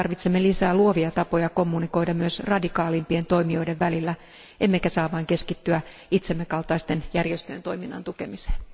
Tarvitsemme lisää luovia tapoja kommunikoida myös radikaalimpien toimijoiden välillä, emmekä saa vain keskittyä itsemme kaltaisten järjestöjen toiminnan tukemiseen.